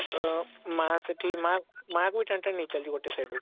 ତ ମା ସେଠି ମା ମା ବି ଟାଣି ଟାଣି ନେଇ ଚାଲିଛି ଗୋଟେ side ରୁ